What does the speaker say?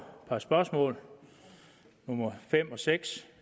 par spørgsmål nummer fem og seks